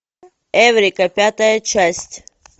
эврика пятая часть